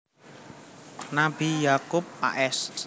Nabi Ya akub a s